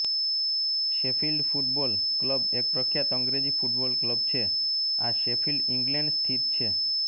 Sheffield football club એક પ્રખ્યાત અંગ્રેજી ફૂટબોલ ક્લબ છે આ શેફિલ્ડ ઇંગ્લેન્ડ સ્થિત છે